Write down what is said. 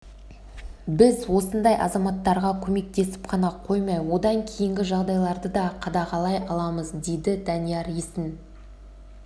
біз осындай азаматтарға көмектесіп қана қоймай одан кейінгі жағдайларды да қадағалай аламыз дейді данияр есін